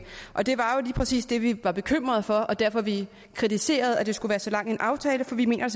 og det var jo præcis det vi var bekymret for og derfor vi kritiserede at det skulle være så lang en aftale for vi mener